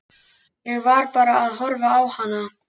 Ég var bara að horfa á hana.